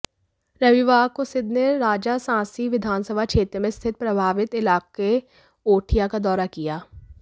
रविवार को सिद्धू ने राजासांसी विधानसभा क्षेत्र में स्थित प्रभावित इलाके ओठियां का दौरा किया